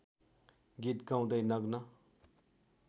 गीत गाउँदै नग्न